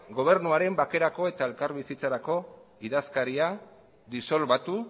gobernuaren bakerako eta elkarbizitzarako idazkaritza disolbatu